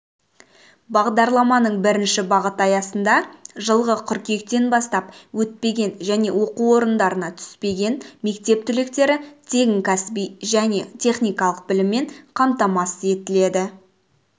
бағдарламаның бірінші бағыты аясында жылғы қыркүйектен бастап өтпеген және оқу орындарына түспеген мектеп түлектері тегін кәсіби және техникалық біліммен қамтамасыз етіледі